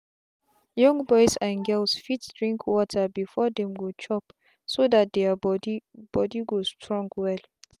young boys and girls fit drink water before them go chopso that their body body go strong well.